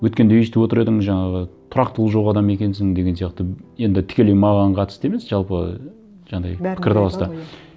өткенде өйстіп отыр едің жаңағы тұрақтылық жоқ адам екенсің деген сияқты енді тікелей маған қатысты емес жалпы жаңағындай пікірталаста